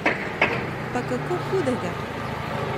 Pa kako hudega!